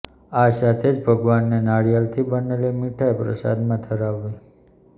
આ સાથે જ ભગવાનને નારિયેળથી બનેલી મીઠાઈ પ્રસાદમાં ધરાવવી